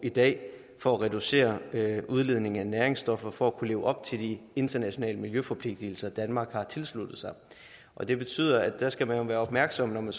i dag for at reducere udledningen af næringsstoffer for at kunne leve op til de internationale miljøforpligtelser danmark har tilsluttet sig det betyder at der skal man være opmærksom når man